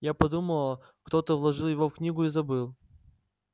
я подумала кто-то вложил его в книгу и забыл